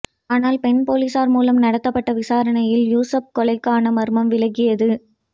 ஆனால் பெண் பொலிசார் மூலம் நடத்தப்பட்ட விசாரணையில் யூசுப் கொலைக்காண மர்மம் விலகியது